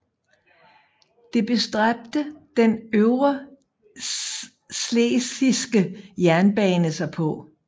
Det bestræbte den Øvreschlesiske jernbane sig på